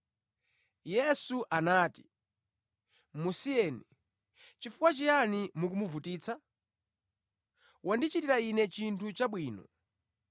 Yesu anati, “Musiyeni, chifukwa chiyani mukumuvutitsa? Wandichitira Ine chinthu chabwino.